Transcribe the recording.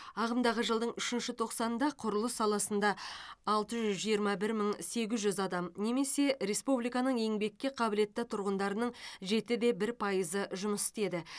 ағымдағы жылдың үшінші тоқсанында құрылыс саласында алты жүз жиырма бір мың сегіз жүз адам немесе республиканың еңбекке қабілетті тұрғындарының жеті де бір пайызы жұмыс істеді